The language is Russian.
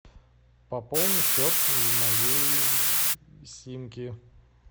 пополни счет моей симки